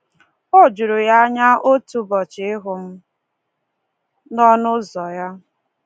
O juru ya anya otu ụbọchị ịhụ m n’ọnụ ụzọ ya!